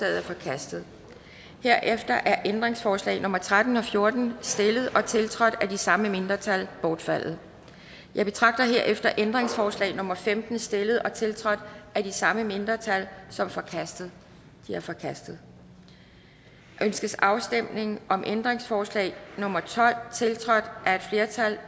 er forkastet herefter er ændringsforslag nummer tretten og fjorten stillet og tiltrådt af de samme mindretal bortfaldet jeg betragter herefter ændringsforslag nummer femten stillet og tiltrådt af de samme mindretal som forkastet det er forkastet ønskes afstemning om ændringsforslag nummer tolv tiltrådt af et flertal